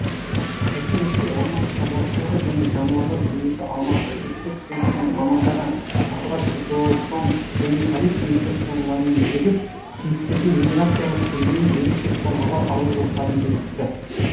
осы ретте орман шаруашылығы және жануарлар дүниесі аумақтық инспекциясының мамандары охотзоопром және полиция инспекторларымен бірігіп киіктердің миграциялық сүрлеуін ерекше қорғауға алу жоспарын бекітті